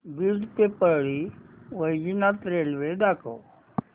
बीड ते परळी वैजनाथ रेल्वे दाखव